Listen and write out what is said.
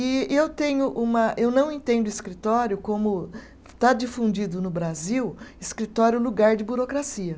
E e eu tenho uma, eu não entendo escritório como. Está difundido no Brasil, escritório lugar de burocracia.